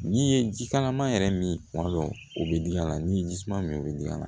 N'i ye jikalaman yɛrɛ min tuma dɔ o bɛ d'a la n'i ye ji suma min bɛ d'a la